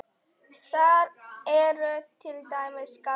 Þar eru til dæmis garðar.